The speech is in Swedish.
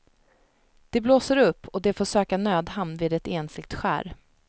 Det blåser upp och de får söka nödhamn vid ett ensligt skär.